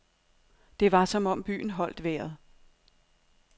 Det var som om byen holdt vejret.